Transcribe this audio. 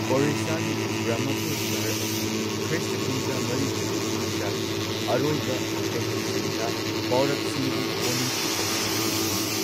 ꯑꯣꯗꯤꯁꯥꯒꯤ ꯕ꯭ꯔꯍꯃꯄꯨꯔ ꯁꯍꯔ ꯑꯁꯤ ꯈ꯭ꯔꯤꯁꯇ ꯀꯨꯝꯖꯥ ꯃꯔꯤ ꯁꯨꯕ ꯆꯍꯤꯆꯥꯒꯤ ꯑꯔꯣꯏꯕ ꯆꯍꯤꯁꯤꯡꯗ ꯄꯧꯔꯕꯁꯤꯡꯒꯤ ꯀꯣꯅꯨꯡꯁꯨ ꯑꯣꯏꯔꯝꯏ ꯍꯥꯏꯅ ꯈꯪꯅꯩ꯫